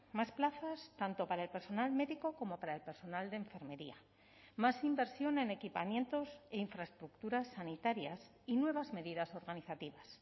más plazas tanto para el personal médico como para el personal de enfermería más inversión en equipamientos e infraestructuras sanitarias y nuevas medidas organizativas